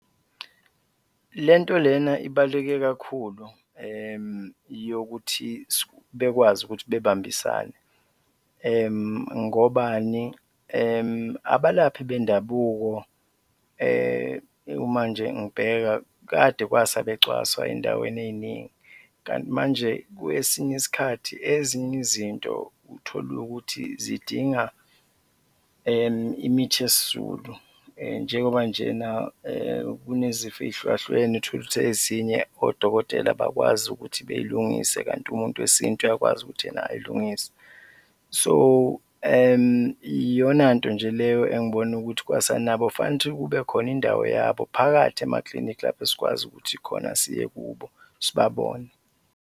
Le nto lena ibaluleke kakhulu, yokuthi bekwazi ukuthi bebambisane ngobani? Abalaphi bendabuko kumanje ngibeka, kade kwasa becwaswa ey'ndaweni ey'ningi kanti manje kwesinye isikhathi ezinye izinto uthole ukuthi zidinga imithi yesiZulu . Njengoba nje na kunezifo ey'hlukahlukene, tholukuthi ezinye odokotela abakwazi ukuthi bey'lungise kanti umuntu wesintu uyakwazi ukuthi yena ay'lungise. So iyona nto nje leyo engibona ukuthi kwasanabo fanele ukuthi kube khona indawo yabo phakathi emaklinikhi, lapho esikwazi ukuthi khona siye kubo, sibabone.